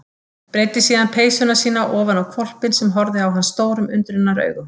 Breiddi síðan peysuna sína ofan á hvolpinn sem horfði á hann stórum undrunaraugum.